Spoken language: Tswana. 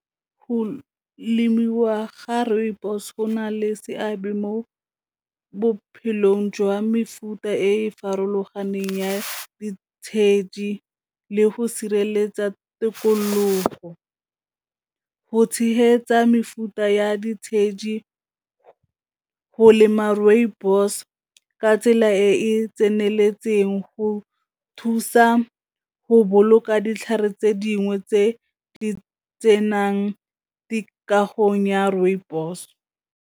Go lemiwa ga rooibos go na le seabe mo bophelong jwa mefuta e farologaneng ya ditshedi, le go sireletsa tikologo. Go tshehetsa mefuta ya ditshedi go lema rooibos ka tsela e e tseneletseng go thusa go boloka ditlhare tse dingwe tse di tsenang dikagong ya rooibos.